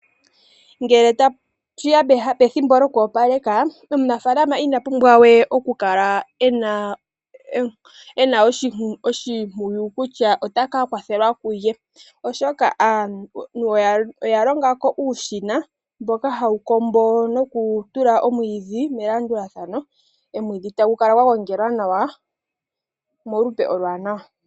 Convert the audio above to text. Ngele tashi ya pethimbo lyokuopaleka, omunafaalama ina pumbwa we okukala e na oshimpwiyu kutya ota ka kwathelwa kulye, oshoka aantu oya longa ko uushina mboka hawu kombo nokutula omwiidhi melandulathano. Omwiidhi ohagu kala gwa gongelwa nawa molupe oluwaanawa.